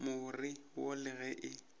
more wo le ge e